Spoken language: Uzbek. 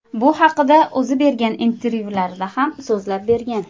Bu haqida o‘zi bergan intervyularida ham so‘zlab bergan .